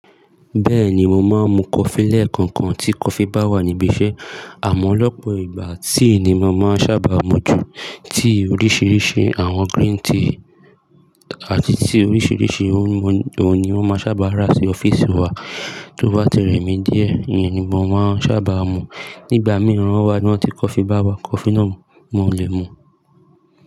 Bẹ́ẹ̀ni, mo máa ń mu coffee lẹkọọkan tí coffee bá wà níbi iṣẹ́. Àmọ́ lọ́pọ̀ ìgbà tea ni mo máa ń ṣábà mu ju, tea oríṣiríṣi àwọn green tea àti tea oríṣiríṣi ohun ni wọ́n máa ń ṣábà rà sí ọ́fíìsì wa. Tó bá ti rẹmi díẹ̀, ìyẹn ni mo má n sábà mu. Nígbà mìíràn wá, bí wọ́n tí coffee bá wá, coffee náà mo lè mu.